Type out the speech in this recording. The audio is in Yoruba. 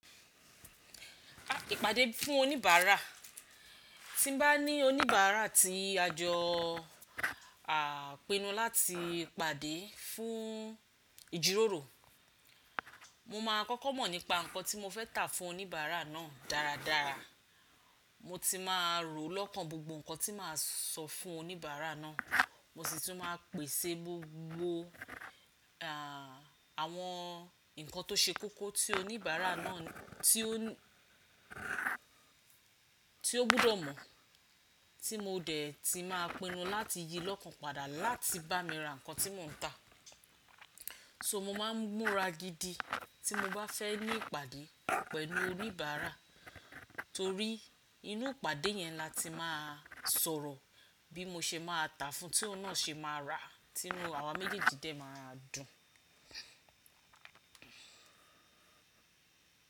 Ìpàdé fún oníbàárà. Tí n bá ní oníbàárà tí à jọ à pinu láti pàdé fún ìjíròrò, mo máa kọ́kọ́ mọ̀ nípa nǹkan tí mo fẹ́ tà fún oníbàárà náà dáradára. Mo ti máa rò lọ́kàn gbogbo nǹkan tí màá sọ fún oníbàárà náà, mo sì tún máa pèsè gbogbo, à, àwọn nǹkan tó ṣe kókó tí oníbàárà náà tí ó, tí ó gbọ́dọ̀ mọ̀, tí mo dẹ̀ ti máa pinu láti yí lọ́kàn padà láti bá mi ra nǹkan tí mò ń tà. So mo máa ń múra gidi tí mo bá fẹ́ ní ìpàdé pẹ̀lú oníbàárà torí inú ìpàdé yẹn la ti máa sọ̀rọ̀ bí mo ṣe máa tà fún un tí ó náà se máa rà tínu àwa méjèèjì dẹ̀ máa dùn.